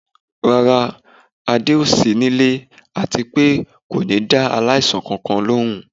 Rárá, Ade o sì nílé àti pé kò ní dá aláìsàn kankan lóhùn